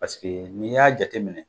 Paseke n'i y'a jate minɛ